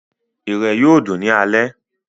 Irẹ̀ yóò dùn ní alẹ́